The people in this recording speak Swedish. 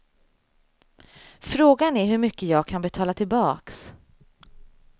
Frågan är hur mycket jag kan betala tillbaks.